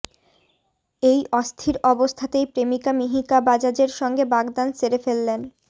এই অস্থির অবস্থাতেই প্রেমিকা মিহিকা বাজাজের সঙ্গে বাগদান সেরে ফেললেন